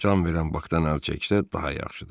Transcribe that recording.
Can verən Bakdan əl çəksə daha yaxşıdır.